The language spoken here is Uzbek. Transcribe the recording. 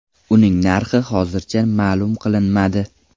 Uning narxi hozircha ma’lum qilinmadi.